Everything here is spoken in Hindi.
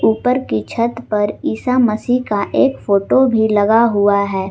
ऊपर की छत पर ईसा मसीह का एक फोटो भी लगा हुआ है।